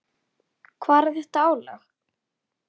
Hvar er þetta álag?